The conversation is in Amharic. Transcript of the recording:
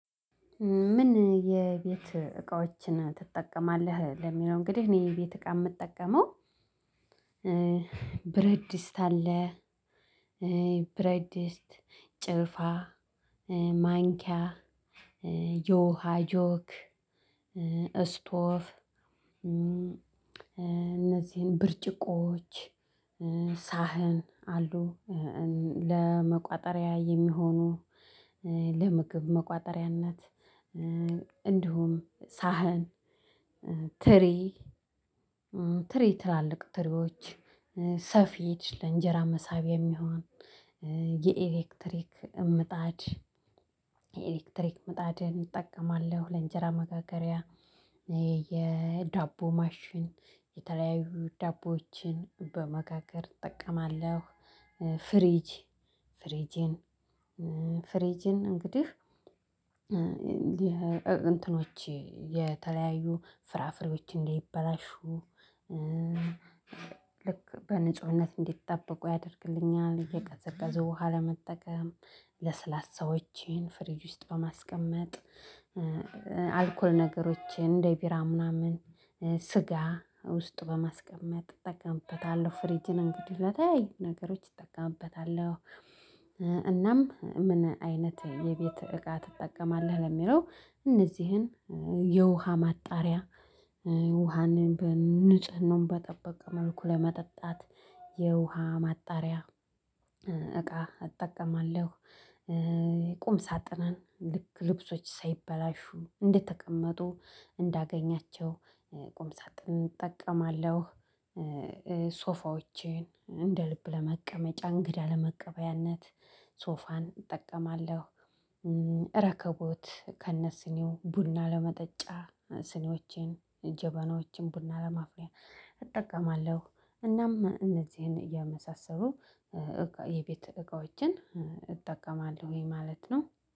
ምን ምን የቤት እቃዎችን ትጠቀማለህ? ለሚለው እንግዲህ እኔ የቤት እቃ የምጠቀመው ብረት ድስት አለ። ብረት ድስት፣ ጭልፋ፣ ማንኪያ፣ የውሃ ጆክ፣ እስቶቭ፣ እነዚህን ብርጭቆዎች፣ ሳህን አሉ ለመቋጠሪያ የሚሆኑ ለምግብ መቋጠሪያነት እንዲሁም ሳህን፣ ትሪ፣ ትሪ ትላልቅ ትሪዎች፣ ሰፌድ ለእንጀራ መሳቢያ የሚሆን የኤሌክትሪክ ምጣድ፣ ኤሌክትሪክ ምጣድን እጠቀማለሁ ለእንጀራ መጋገሪያ የዳቦ ማሽን የተለያዩ ዳቦዎችን በመጋገር እጠቀማለሁ ፍሪጅ፥ ፍሪጅን ፍሪጅን እንግዲህ እንትኖቼ የተለያዩ ፍራፍሬዎች እንዳይበላሹ ልክ በንጹህነት እንዲጠብቁ ያደርግልኛል። የቀዘቀዘው ውሃ ለመጠቀም፣ ለስላሳዎቼን ፍሪጅ ውስጥ በማስቀመጥ አልኮል ነገሮችን እንደ ቢራ ምናምን፣ ስጋ ውስጥ በማስቀመጥ እጠቀምበታለሁ። ፍሬጅን እንግዲህ ለተለያዩ ነገሮች እጠቀምበታለሁ። እናም ምን አይነት የቤት እቃ ትጠቀማለህ? ለሚለው እነዚህን የውሃ ማጣሪያ ውሃን በንጽህናውም በጠበቅ መልኩ ለመጠጣት የውሃ ማጣሪያ እቃ እጠቀማለሁ። ቁም ሳጥንን ልክ ልብሶች ሳይበላሹ እንደተቀመጡ እንዳገኛቸው ቁም ሳጥን እጠቀማለሁ። ሶፋዎችን እንደ ልብ ለመቀመጫ እንግዳ ለመቀበያነት ሶፋን እጠቀማለሁ። ረከቦት ከነስኒው ቡና ለመጠጫ ስኒዎቼን ጀበናዎችን ቡና ለማፍላት እጠቀማለሁ። እናም እነዚህን የመሳሰሉ የቤት እቃዎችን እጠቀማለሁን ማለት ነው።